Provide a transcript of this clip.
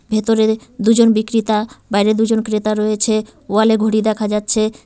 ভেতরে দুজন বিক্রেতা বাইরে দুজন ক্রেতা রয়েছে ওয়াল -এ ঘড়ি দেখা যাচ্ছে।